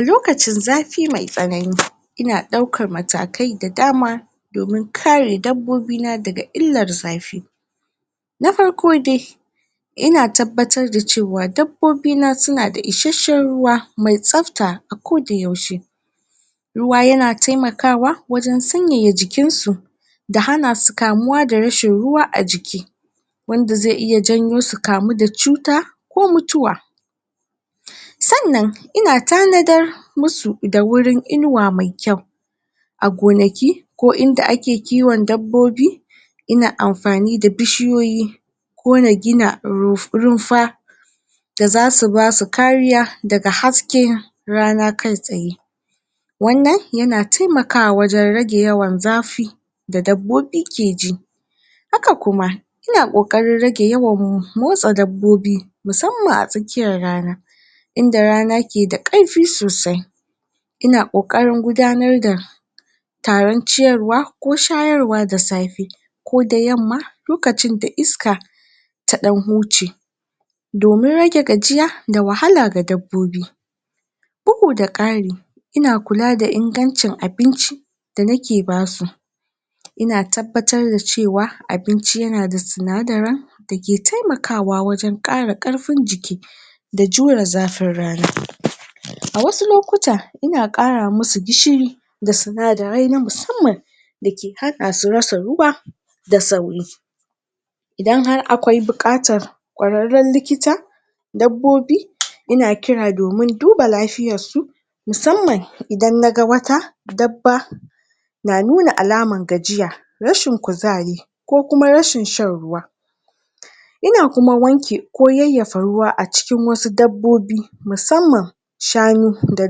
A lokacin zafi mai tsanani ina daukar matakai da dama domin kare dabbobi na da ga illar zafi na farko de ina tabbatar da cewa dabbobi na su na da isheshen ruwa mai sabta a ko da yaushe. Ruwa ya na taimakawa wajen sanyaya jikin su da hana su kamuwa da rashin ruwa a jiki wanda ze iya janyo su kamu da cuta ko mutuwa Sannan ina tanadar musu da wurin inuwa mai kyau a gonaki, ko inda ake kiwon dabbobi ina amfani da bishiyoyi ko na gina rumfa da zasu basu kariya da ga haske rana kai tsaye. Wannan ya na taimakawa wajen ragen yawan zafi da dabbobi ke ji. Haka kuma ina ƙoƙarin rage yawan motsa dabbobi musamman a tsakiyar rana inda rana ke da karfi sosai ina ƙoƙarin gudanar da tarin ciyarwa ko shayarwa da safe ko da yamma, lokacin da iska ta dan huce domin rage gajiya da wahala ga dabobi. bugu da ƙari ina kula da ingancin abinci da na ke basu ina tabbatar da cewa abinci ya na da sunadaran da ke taimakawa wajen kara karfin jiki da jura zafin rana. A wasu lokuta, ina kara masu gishiri da sunadarei na musamman da ke hada su rasa ruwa da sauri. Idan har akwai bukatar kwararen likita dabobi, ina kira domin duba lafiyar su musamman idan na ga wata daba na nuna alaman gajiya, rashin kuzari ko kuma rashin shan ruwa ina kuma wanke ko yayafa ruwa a cikin wasu dabobi musamman shanu da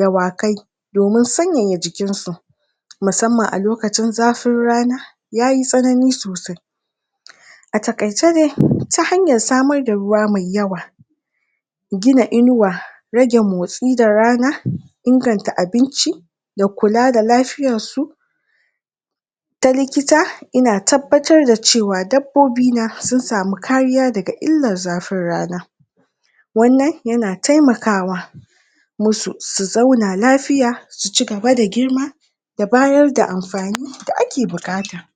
dawakai domin sanyaya jikin su musamman a lokacin zafin rana yayi tsanani sosai. A takaice dai, ta hanyar samar da ruwa mai yawa gina inuwa rage motsi da rana inganta abinci da kula da lafiyar su ta likita ina tabbatar da cewa dabobi na su samu kariya da ga llar zafin rana wannan ya na taimakawa musu su zauna lafiya, su cigaba da girma da bayar da amfani da a ke bukata.